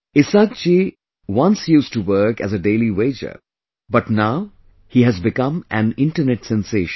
Isaak ji once used to work as a daily wager but now he has become an internet sensation